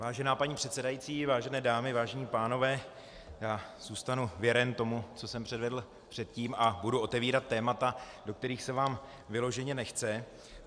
Vážená paní předsedající, vážené dámy, vážení pánové, já zůstanu věren tomu, co jsem předvedl předtím, a budu otevírat témata, do kterých se vám vyloženě nechce.